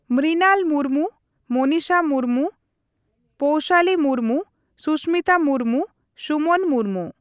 Mrinal Murmu, Monisha Murmu, Poushali Murmu, Susmita Murmu, Suman Murmu.